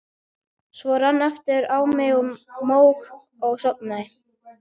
Svo rann aftur á mig mók og ég sofnaði.